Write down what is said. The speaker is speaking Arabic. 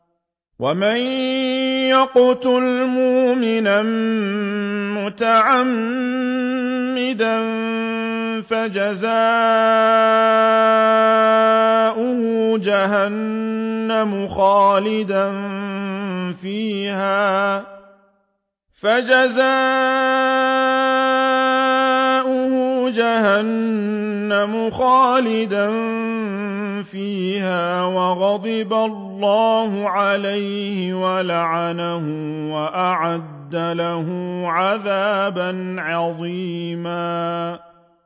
وَمَن يَقْتُلْ مُؤْمِنًا مُّتَعَمِّدًا فَجَزَاؤُهُ جَهَنَّمُ خَالِدًا فِيهَا وَغَضِبَ اللَّهُ عَلَيْهِ وَلَعَنَهُ وَأَعَدَّ لَهُ عَذَابًا عَظِيمًا